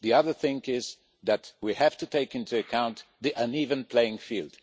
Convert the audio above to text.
The other thing is that we have to take into account the uneven playing field.